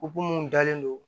mun dalen don